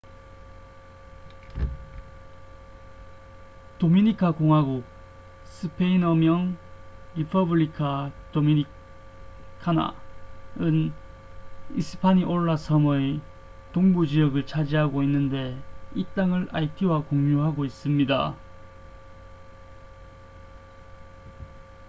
도미니카 공화국스페인어 명: república dominicana은 히스파니올라 섬의 동부 지역을 차지하고 있는데 이 땅을 아이티와 공유하고 있습니다